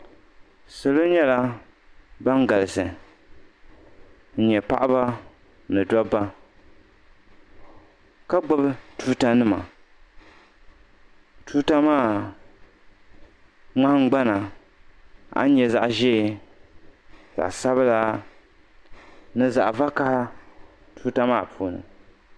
Salo nyɛla ban galisi n-nyɛ paɣiba ni dabba ka gbubi tuutanima tuuta maa ŋmahingbana a ni nya zaɣ'ʒee zaɣ'sabila ni zaɣ'vakaha tuuta maa puuni.